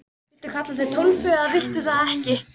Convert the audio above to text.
Viltu kalla þig Tólfu eða viltu það ekki?